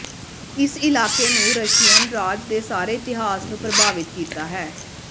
ਇਸ ਇਲਾਕੇ ਨੂੰ ਰਸ਼ੀਅਨ ਰਾਜ ਦੇ ਸਾਰੇ ਇਤਿਹਾਸ ਨੂੰ ਪ੍ਰਭਾਵਿਤ ਕੀਤਾ ਹੈ